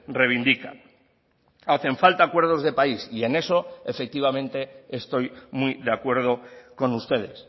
reivindican hacen falta acuerdos de país y en eso efectivamente estoy muy de acuerdo con ustedes